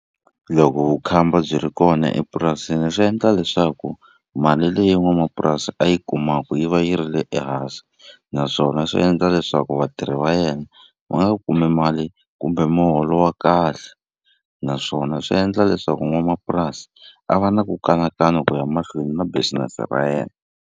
Loko vukhamba byi ri kona epurasini swi endla leswaku mali leyi n'wamapurasi a yi kumaku yi va yi ri le ehansi naswona swi endla leswaku vatirhi va yena va nga kumi mali kumbe muholo wa kahle naswona swi endla leswaku n'wamapurasi a va na ku kanakana ku ya mahlweni na business ra yena.